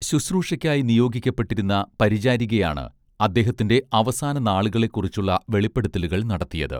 ശുശ്രൂഷയ്ക്കായി നിയോഗിക്കപ്പെട്ടിരുന്ന പരിചാരികയാണ് അദ്ദേഹത്തിന്റെ അവസാന നാളുകളെക്കുറിച്ചുള്ള വെളിപ്പെടുത്തലുകൾ നടത്തിയത്